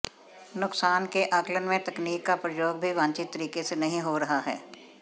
नुकसान के आकलन में तकनीक का प्रयोग भी वांछित तरीके से नहीं हो रहा है